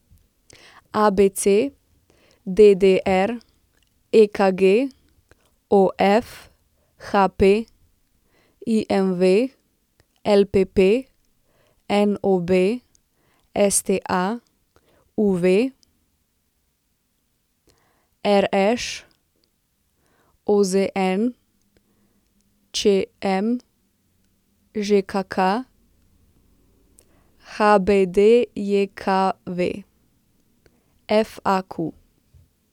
ABC, DDR, EKG, OF, HP, IMV, LPP, NOB, STA, UV, RŠ, OZN, ČM, ŽKK, HBDJKV, FAQ.